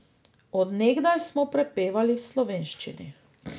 Od nekdaj smo prepevali v slovenščini.